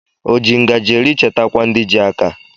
O ji ngaji eri chetakwa ndi ji aka